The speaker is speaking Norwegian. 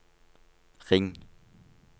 ring